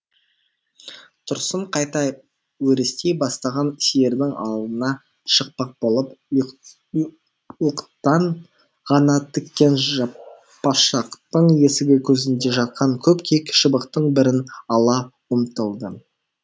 тұрсын қайта өрістей бастаған сиырдың алдына шықпақ болып уықтан ғана тіккен жаппашақтың есігі көзінде жатқан көп кек шыбықтың бірін ала ұмтылды